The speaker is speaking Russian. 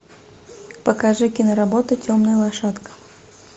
покажи киноработу темная лошадка